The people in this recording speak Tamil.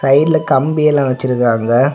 சைடுல கம்பி எல்லா வச்சிருக்காங்க.